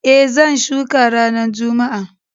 E, zan shuka ranar Juma'a.